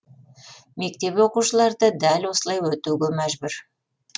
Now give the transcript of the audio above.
мектеп оқушылары да дәл осылай өтуге мәжбүр